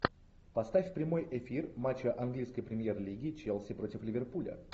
поставь прямой эфир матча английской премьер лиги челси против ливерпуля